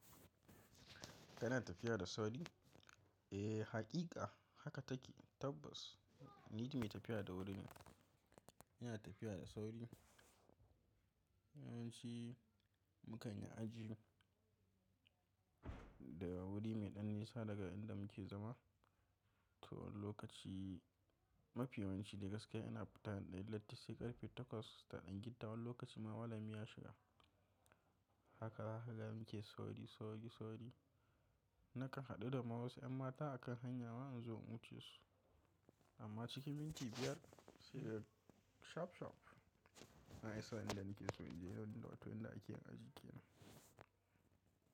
Kana tafiya da sauri? Eh, haƙiƙa haka take tabbas ni mai tafiya da wuri ne. Ina tafiya da sauri. Yawanci mukan yi aji daga wuri mai ɗan nisa daga inda muke zama. Tuwon lokaci mafi yawanci da gaske ana fita da idan latti sai ƙarfe 8:15. Tuwon lokaci ma walamiya shiga. Haka, haka, haka muke sauri, sauri, sauri. Nakan haɗu da ma wasu ƴan mata a kan hanya ma nazo in wuce su. Amma cikin minti biyar sai shop, shop an iso inda muke so, inda otel da ake ajiye mu yake.